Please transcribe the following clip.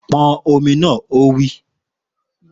Pọn ọmọ náà! Ó wí.